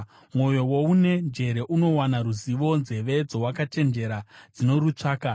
Mwoyo woune njere unowana ruzivo, nzeve dzowakachenjera dzinorutsvaka.